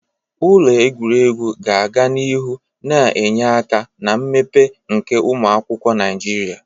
Ụlọ egwuregwu ga-aga n'ihu na-enye aka na mmepe nke ụmụ akwụkwọ Naijiria.